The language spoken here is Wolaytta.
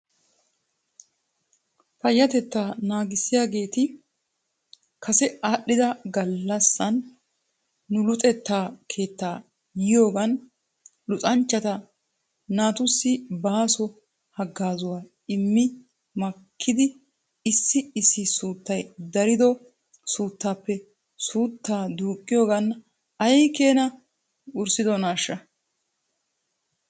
Payyatettaa naagissiyaageeti kase aadhdhida galassan nu luxetta keettaa yiyoogan luxanchcha naatussi baaso hagaazuwaa immi makkidi issi issi suuttay darido naatuppe suuttaa duuqqiyoogan ay keenaa worissidonaashsha?